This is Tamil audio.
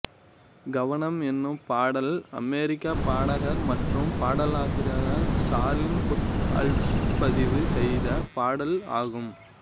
கவனம் எனும் பாடல் அமெரிக்க பாடகர் மற்றும் பாடலாசிரியரான சார்லி புத் ஆல்பதிவு செய்த பாடல் ஆகும்